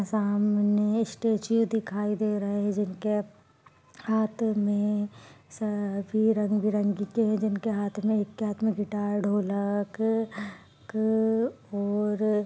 सामने स्टेचू दिखाई दे रहे हैं जिनके हाथ में सभी रंग बिरंग के जिनके हाथ में एक के हाथ मैं गिटार ढोलक क और--